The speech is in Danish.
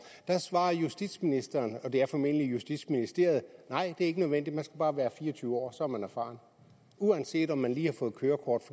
der svarede justitsministeren og det er formentlig justitsministeriet nej det er ikke nødvendigt man skal bare være fire og tyve år så er man erfaren uanset om man lige har fået kørekort